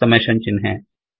summation ಚಿಹ್ನೆ